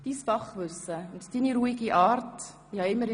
Dein Fachwissen und deine ruhige Art werden uns fehlen.